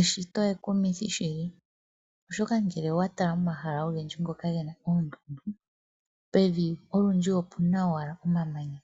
Eshito ekumithi shili oshoka ngele owa tala omahala ogendji ngoka gena oondundu pevi olundji opena owala omamanya